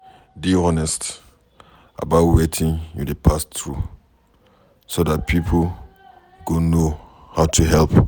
Dey honest about wetin you dey pass through so dat pipo go know how to help